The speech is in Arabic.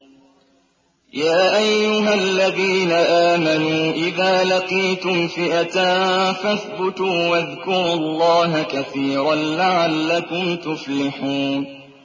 يَا أَيُّهَا الَّذِينَ آمَنُوا إِذَا لَقِيتُمْ فِئَةً فَاثْبُتُوا وَاذْكُرُوا اللَّهَ كَثِيرًا لَّعَلَّكُمْ تُفْلِحُونَ